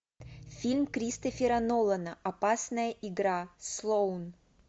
фильм кристофера нолана опасная игра слоун